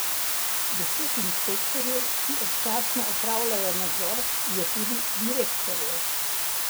Deset inšpektorjev, ki občasno opravljajo nadzor, je tudi direktorjev.